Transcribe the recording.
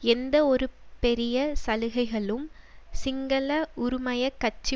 எந்த ஒரு பெரிய சலுகைகளும் சிங்கள உறுமய கட்சி